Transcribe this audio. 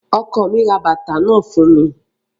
Ọkọ mi ra bàtà náà fún mi